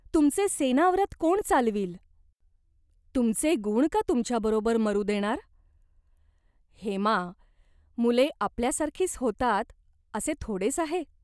तुमचे सेवाव्रत कोण चालवील ? तुमचे गुण का तुमच्याबरोबर मरू देणार ?" "हेमा, मुले आपल्याचसारखी होतात असे थोडेच आहे ?